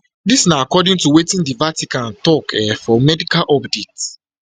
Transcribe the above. dis na according to wetin di vatican tok um for medical update